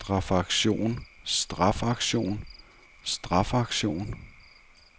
strafaktion strafaktion strafaktion